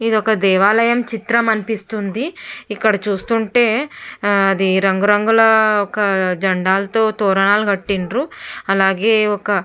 ఇది ఒక దేవాలయము చిత్రం అనిపిస్తుంది. ఇక్కడ చూస్తుంటే అది రంగు రంగు లతో ఒక జెండాలతో తోరణాలు కట్టిండ్రు. అలాగే ఒక--